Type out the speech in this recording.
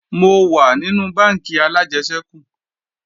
Mo wà nínú bánkì alájẹsẹ́kù